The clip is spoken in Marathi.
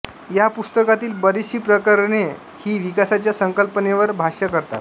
या पुस्तकातील बरीचशी प्रकरणे ही विकासाच्या संकल्पनेवर भाष्य करतात